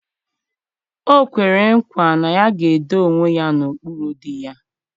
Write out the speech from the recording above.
O kwere nkwa na ya ga-edo onwe ya n'okpuru di ya.